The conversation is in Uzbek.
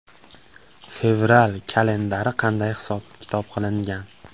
Fevral kalendari qanday hisob-kitob qilingan?